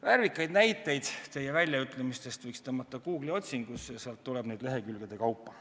Värvikaid näiteid teie väljaütlemistest võiks panna Google'i otsingusse ja sealt tuleb neid lehekülgede kaupa.